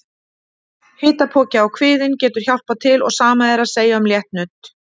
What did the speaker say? Hitapoki á kviðinn getur hjálpað til og sama er að segja um létt nudd.